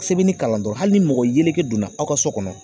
Sɛbɛnni kalan dɔrɔn hali ni mɔgɔ yeleke donna aw ka so kɔnɔ